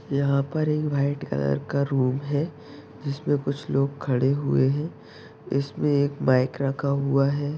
यहां पर एक व्हाइट कलर का रूम है। जिसमें कुछ लोग खड़े हुए हैं। जिसमें एक माईक रखा हुआ है।